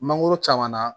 Mangoro caman na